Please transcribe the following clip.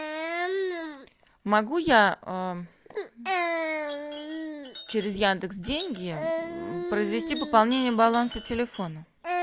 могу я через яндекс деньги произвести пополнение баланса телефона